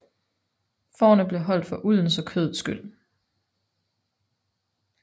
Fårene blev holdt for uldens og kødets skyld